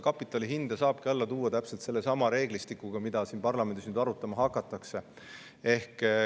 Kapitali hinda saabki alla tuua täpselt sellesama reeglistikuga, mida siin parlamendis arutama hakatakse.